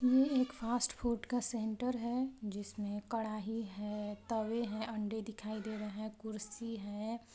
एक fast food का centre है जिसमें कड़ाही है तवे हैं अंडे दिखाई दे रहे हैं कुर्सी है।